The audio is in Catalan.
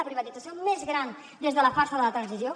la privatització més gran des de la farsa de la transició